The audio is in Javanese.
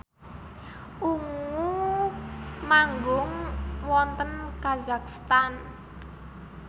Ungu manggung wonten kazakhstan